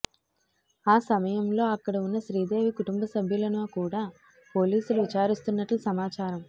ఆ సమయంలో అక్కడ ఉన్న శ్రీదేవి కుటుంబ సభ్యులను కూడా పోలీసులు విచారిస్తున్నట్లు సమాచారం